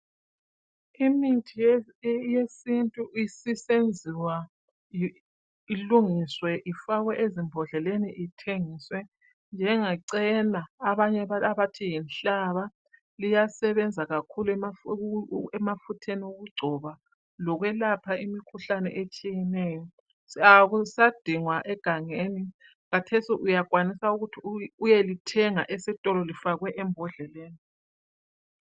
Imithi yesintu isisenziwa ilungiswe ifakwe ezimbodleleni ithengiswe. Njengecena abanye abathi yinhlaba liyasebenza kakhulu emafutheni okugcoba, lokwelapha imikhuhlane otshiyeneyo . Akusadingwa egangeni kathesi uyakwanisa ukuthi uyelithenga estolo lifakwe embodleleni